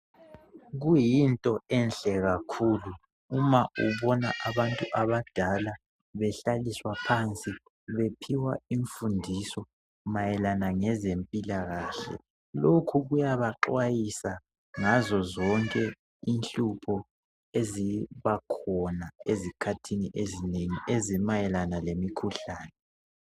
Kuyinto enhle kakhulu uma ubona abantu abadala behlaliswa phansi .Bephiwa infundiso mayelana ngezempilakahle. Lokho kuyabaxhwayisa ngazo zonke inhlupho ezibakhona ezikhathini ezinengi. Ezimayelana lemikhuhlane.